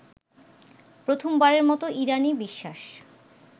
প্রথমবারের মতো ইরানী বিশ্বাস